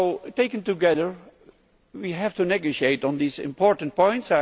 Taken together we have to negotiate on these important points.